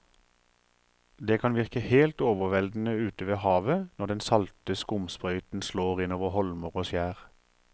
Det kan virke helt overveldende ute ved havet når den salte skumsprøyten slår innover holmer og skjær.